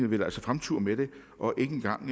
vil fremture med den og ikke engang